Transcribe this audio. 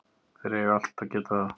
Þeir eiga allt í að geta það.